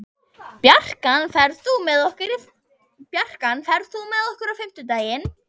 Bjarkan, ferð þú með okkur á fimmtudaginn?